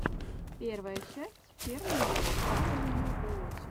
первая часть фермани даблюоути